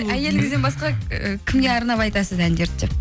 әйеліңізден басқа і кімге арнап айтасыз әндерді деп